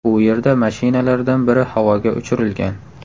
U yerda mashinalardan biri havoga uchirilgan.